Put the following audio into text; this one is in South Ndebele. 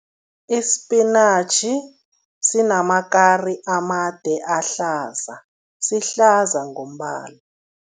Isipinatjhi sinamakari amade ahlaza, sihlaza ngombala.